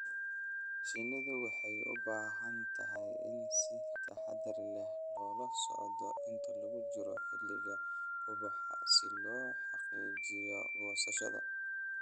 Shinnidu waxay u baahan tahay in si taxadar leh loola socdo inta lagu jiro xilliga ubaxa si loo xaqiijiyo goosashada.